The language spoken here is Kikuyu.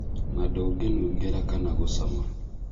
Na ndũngĩnungĩra kana ngũcama